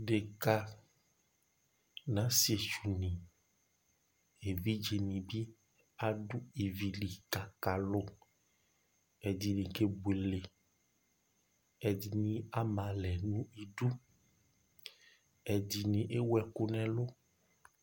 Dekǝ nʋ asɩetsʋni, evidzeni bɩ adu ivi li kʋ akalʋ Ɛdɩnɩ kebuele, ɛdɩnɩ ama alɛ nʋ idu, ɛdɩnɩ ewu ɛkʋ nʋ ɛlʋ